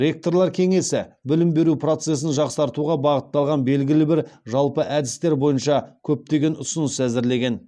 ректорлар кеңесі білім беру процесін жақсартуға бағытталған белгілі бір жалпы әдістер бойынша көптеген ұсыныс әзірлеген